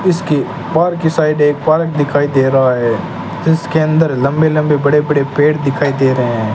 इसके बाहर की साइड एक पार्क दिखाई दे रहा है इसके अंदर लंबे लंबे बड़े बड़े पेड़ दिखाई दे रहे हैं।